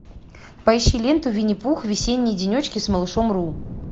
поищи ленту винни пух весенние денечки с малышом ру